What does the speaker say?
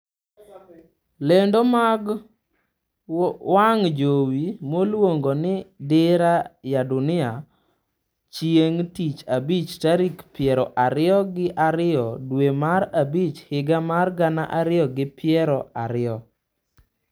Lendo mag wang' jowi miluongo ni Dira ya Dunia chieng' tich Abich tarik piero ariyo gi ariyo dwe mar abich higa mar gana ariyo gi piero ariyo